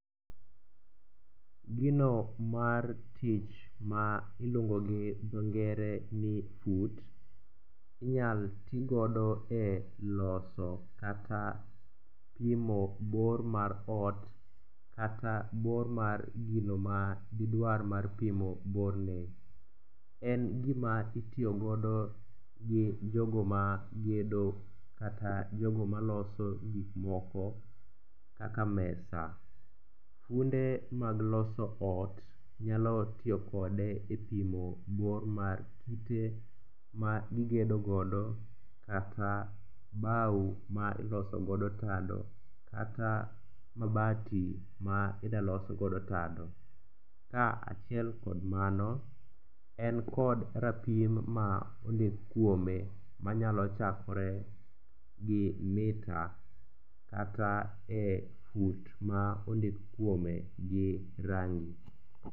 Gino mar tich ma iluongo gi dho ngere ni fut inyal ti godo e loso kata pimo bor mar ot kata bor mar gino ma didwar mar pimo borne. En gima itiyogodo gi jogo ma gedo kata jogo maloso gikmoko kaka mesa. Funde mag loso ot nyalo tiyo kode e pimo bor mar kite ma gigedogodo kata bao ma ilosogodo tado kata mabati ma idalosgodo tado. Kaachiel kod mano, en kod rapim ma ondik kuome manyalo chakore gi mita kata e fut ma ondik kuome gi rangi.